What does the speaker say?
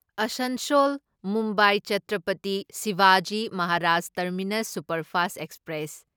Asansol Mumbai Chhatrapati Shivaji Maharaj terminus superfast express